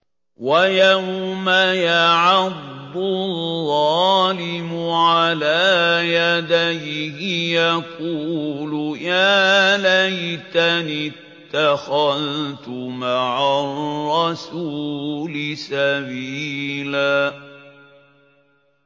وَيَوْمَ يَعَضُّ الظَّالِمُ عَلَىٰ يَدَيْهِ يَقُولُ يَا لَيْتَنِي اتَّخَذْتُ مَعَ الرَّسُولِ سَبِيلًا